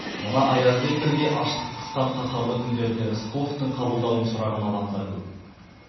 мына аязбен бірге аштық қысқан қаһарлы күндерде рысқұловтың қабылдауым сұраған адамдар көп